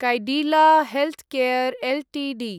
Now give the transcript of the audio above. Cadila healthcare Ltd